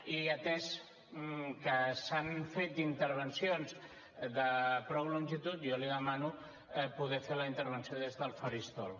i atès que s’han fet intervencions de prou longitud jo li demano poder fer la intervenció des del faristol